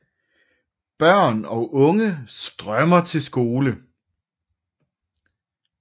Børn og unge strømmer til skole